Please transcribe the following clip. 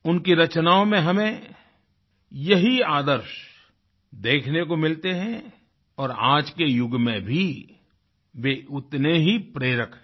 उनकी रचनाओं में हमें यही आदर्श देखने को मिलते हैं और आज के युग में भी वे उतने ही प्रेरक है